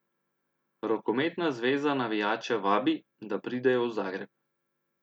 Rokometna zveza navijače vabi, da pridejo v Zagreb.